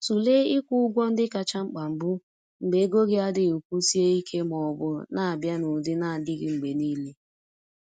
Tụlee ịkwụ ụgwọ ndị kacha mkpa mbụ mgbe ego gị adịghị kwụsie ike ma ọ bụ na-abịa n’ụdị na-adịghị mgbe niile.